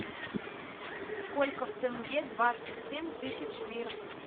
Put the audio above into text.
сколько в тенге двадцать семь тысяч лир